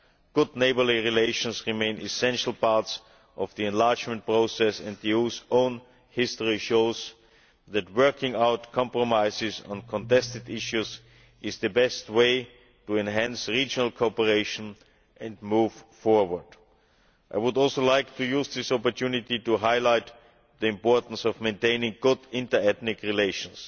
Good neighbourly relations remain an essential part of the enlargement process and the EU's own history shows that working out compromises on contested issues is the best way to enhance regional cooperation and move forward. I would also like to use this opportunity to highlight the importance of maintaining good inter-ethnic relations.